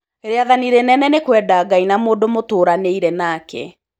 Rĩathanĩ rĩnene nĩ kwenda Ngai na mũndũ mũtũranĩire nake.